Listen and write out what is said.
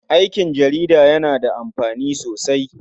Aiki jarida yana da amfani sosai.